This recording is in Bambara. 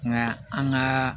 Nka an ka